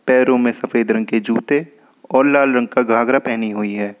पैरों में सफेद रंग के जूते और लाल रंग का घाघरा पहनी हुई है।